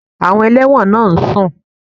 Àwọn ẹlẹ́wọ̀n náà ń sùn